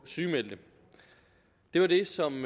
sygemeldte det var det som